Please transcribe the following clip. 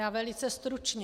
Já velice stručně.